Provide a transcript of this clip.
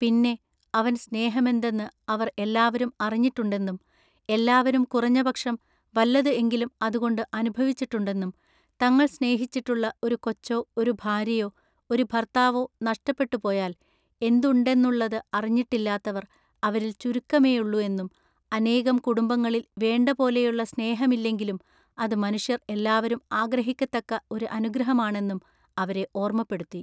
പിന്നെ അവൻ സ്നേഹമെന്തെന്ന് അവർ എല്ലാവരും അറിഞ്ഞിട്ടുണ്ടെന്നും എല്ലാവരും കുറഞ്ഞ പക്ഷം വല്ലത് എങ്കിലും അതുകൊണ്ടു അനുഭവിച്ചിട്ടുണ്ടെന്നും തങ്ങൾ സ്നേഹിച്ചിട്ടുള്ള ഒരു കൊച്ചൊ ഒരു ഭാര്യയോ ഒരു ഭർത്താവോ നഷ്ടപ്പെട്ടു പോയാൽ എന്തുണ്ടെന്നുള്ളത് അറിഞ്ഞിട്ടില്ലാത്തവർ അവരിൽ ചുരുക്കമെയുള്ളു എന്നും അനേകം കുടുംബങ്ങളിൽ വേണ്ടപോലെയുള്ള സ്നേഹമില്ലെങ്കിലും അതു മനുഷ്യർ എല്ലാവരും ആഗ്രഹിക്കത്തക്ക ഒരു അനുഗ്രഹമാണെന്നും അവരെ ഓർമ്മപ്പെടുത്തി.